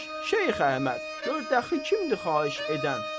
Şeyx Əhməd, gör dəxi kimdir xahiş edən.